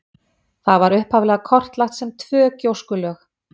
Það var upphaflega kortlagt sem tvö gjóskulög.